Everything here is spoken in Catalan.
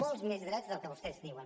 molts més drets dels que vostès diuen